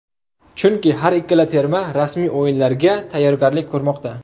Chunki har ikkala terma rasmiy o‘yinlarga tayyorgarlik ko‘rmoqda.